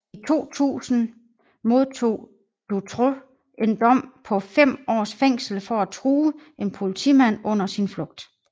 I 2000 modtog Dutroux en dom på fem års fængsel for at true en politimand under sin flugt